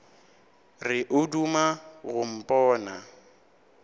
re o duma go mpona